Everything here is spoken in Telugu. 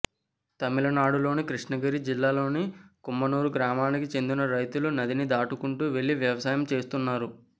తమిళనాడులోని కృష్ణగిరి జిల్లాలోని కుమ్మనూర్ గ్రామానికి చెందిన రైతులు నదిని దాటుకుంటూ వెళ్లి వ్యవసాయం చేస్తున్నారు